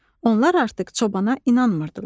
Onlar artıq çobana inanmırdılar.